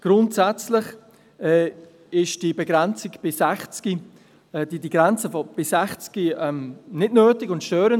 Grundsätzlich ist die Begrenzung auf 60 nicht nötig und störend.